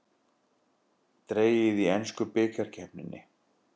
Dregið í ensku bikarkeppninni